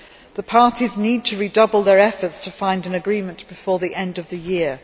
The parties need to redouble their efforts to find an agreement before the end of the year.